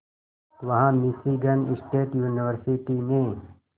वहां Michigan state university में